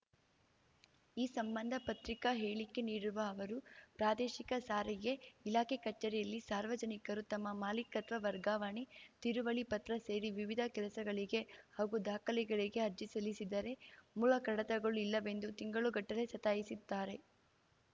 ಈ ಸಂಬಂಧ ಪತ್ರಿಕಾ ಹೇಳಿಕೆ ನೀಡಿರುವ ಅವರು ಪ್ರಾದೇಶಿಕ ಸಾರಿಗೆ ಇಲಾಖೆ ಕಚೇರಿಯಲ್ಲಿ ಸಾರ್ವಜನಿಕರು ತಮ್ಮ ಮಾಲೀಕತ್ವ ವರ್ಗಾವಣೆ ತಿರುವಳಿ ಪತ್ರ ಸೇರಿ ವಿವಿಧ ಕೆಲಸಗಳಿಗೆ ಹಾಗೂ ದಾಖಲೆಗಳಿಗೆ ಅರ್ಜಿ ಸಲ್ಲಿಸಿದರೆ ಮೂಲ ಕಡತಗಳು ಇಲ್ಲವೆಂದು ತಿಂಗಳುಗಟ್ಟಲೆ ಸತಾಯಿಸುತ್ತಾರೆ